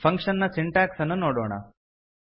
function ನ syntax ಅನ್ನು ನೋಡೋಣ